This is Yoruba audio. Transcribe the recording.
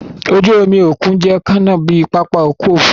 Oju-omi okun jẹ kanna bi papa ọkọ ofurufu.